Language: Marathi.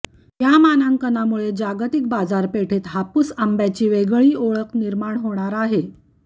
या मानांकनामुळे जागतिक बाजारपेठेत हापूस आंब्याची वेगळी ओळख निर्माण होणार आहे